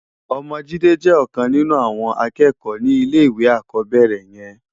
Òmò Jide jè òkan ninú áwòn ákèékò ni ilé iwé ákòbèrè yèn